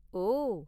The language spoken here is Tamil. ஓ!